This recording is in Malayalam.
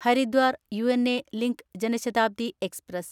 Haridwar Una link Janshatabdi express